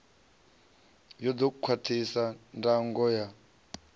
ya ḓo khwaṱhisa ndango ya